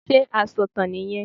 Sé asọ̀tàn nì yẹn